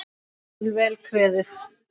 Hér er vel kveðið!